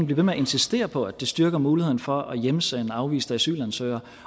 ved med at insistere på at det styrker muligheden for at hjemsende afviste asylansøgere